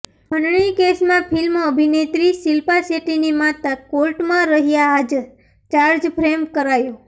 ખંડણી કેસમાં ફિલ્મ અભિનેત્રી શિલ્પા શેટ્ટીની માતા કોર્ટમાં રહ્યાં હાજરઃ ચાર્જફ્રેમ કરાયો